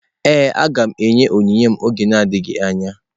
Ee, aga m enye onyinye m n’oge adịghị anya.